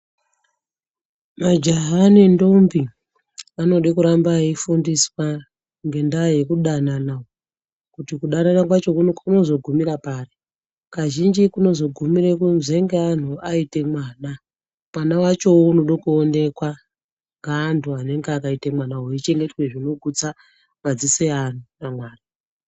Majaha nendombi vanoda kuramba veifundiswa ngendaa yekudanana kuti kudanana kwacho kunozogumira pari. Kazhinji kunozogumire kuzonge antu aite mwana, mwana vachovo unode kuonekwa ngeantu anenge akaite mwana uyu. Eichengete zvinogutsa madziso evantu pamwana.